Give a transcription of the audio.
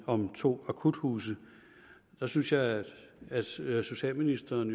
om to akuthuse synes jeg at at socialministeren